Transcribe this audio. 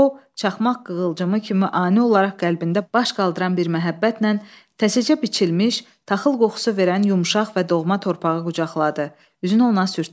O, çaxmaq qığılcımı kimi ani olaraq qəlbində baş qaldıran bir məhəbbətlə təzəcə biçilmiş, taxıl qoxusu verən yumşaq və doğma torpağı qucaqladı, üzünü ona sürtdü.